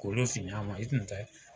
Kolo si y'a ma i tun tɛ